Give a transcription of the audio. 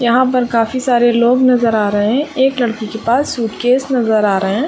यहाँ पर काफी सारे लोग नजर आ रहे है एक लड़की के पास सूटकेस नजर आ रहे है।